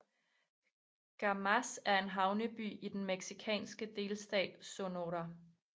Guaymas er en havneby i den mexikanske delstat Sonora